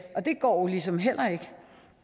og det går ligesom heller ikke